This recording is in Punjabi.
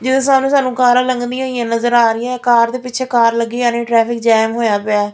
ਜਿਹਦੇ ਸਾਹਮਣੇ ਸਾਨੂੰ ਕਾਰਾਂ ਲੱਗਦੀਆਂ ਹੋਈਆਂ ਨਜ਼ਰ ਆ ਰਹੀਆਂ ਕਾਰ ਦੇ ਪਿੱਛੇ ਕਾਰ ਲੱਗੀ ਹੋਈ ਟ੍ਰੈਫਿਕ ਜੈਮ ਹੋਇਆ ਪਿਆ --